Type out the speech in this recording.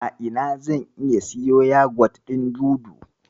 A ina zan iya siyo yagwat ɗin Dudu?